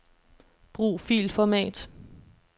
Brug filformat.